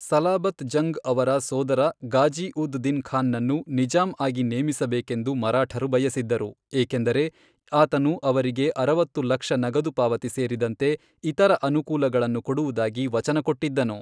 ಸಲಾಬತ್ ಜಂಗ್ ಅವರ ಸೋದರ ಗಾಜಿ ಉದ್ ದಿನ್ ಖಾನ್ನನ್ನು ನಿಜಾಂ ಆಗಿ ನೇಮಿಸಬೇಕೆಂದು ಮರಾಠರು ಬಯಸಿದ್ದರು, ಏಕೆಂದರೆ ಆತನು ಅವರಿಗೆ ಅರವತ್ತು ಲಕ್ಷ ನಗದುಪಾವತಿ ಸೇರಿದಂತೆ ಇತರ ಅನುಕೂಲಗಳನ್ನು ಕೊಡುವುದಾಗಿ ವಚನ ಕೊಟ್ಟಿದ್ದನು.